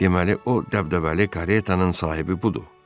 Deməli o dəbdəbəli karetanın sahibi budur.